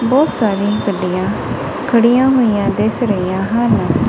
ਬਹੁਤ ਸਾਰੇ ਗੱਡੀਆਂ ਖੜੀਆਂ ਹੋਈਆਂ ਦਿਸ ਰਹੀਆਂ ਹਨ।